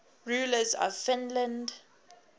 rulers of finland